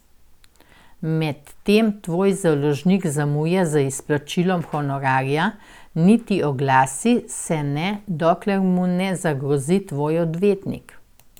Medtem tvoj založnik zamuja z izplačilom honorarja, niti oglasi se ne, dokler mu ne zagrozi tvoj odvetnik.